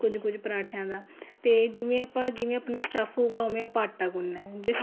ਕੁੱਝ ਕੁੱਝ ਪਰਾਂਠੇਆ ਦਾ ਤੇ ਜਿਵੇਂ ਆਪਾਂ ਜਿਵੇਂ ਆਪਣਾ stuff ਹੋਊਗਾ ਉਵੇ ਆਪਾਂ ਆਟਾ ਗੁੰਨਣਾ ਜੇ